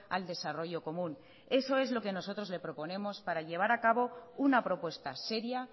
al desarrollo común eso es lo que nosotros le proponemos para llevar a cabo una propuesta seria